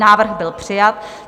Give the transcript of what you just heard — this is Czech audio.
Návrh byl přijat.